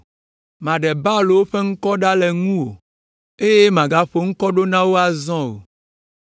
Maɖe Baalwo ƒe ŋkɔwo ɖa le ŋuwò, eye màgaƒo ŋkɔ ɖo na wo azɔ o.